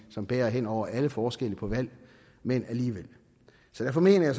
som bærer hen over alle forskelle på valg men alligevel så derfor mener jeg